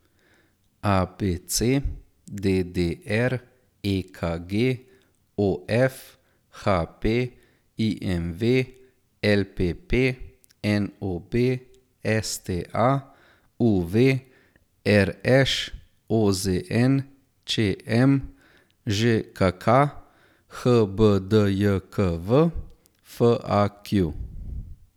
ABC, DDR, EKG, OF, HP, IMV, LPP, NOB, STA, UV, RŠ, OZN, ČM, ŽKK, HBDJKV, FAQ.